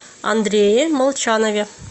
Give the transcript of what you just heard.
андрее молчанове